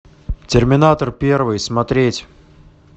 терминатор первый смотреть